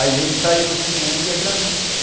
Aí a gente saía do cinema e ia para a missa.